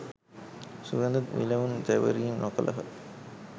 සුවඳ විලවුන් තැවරීම් නොකළහ.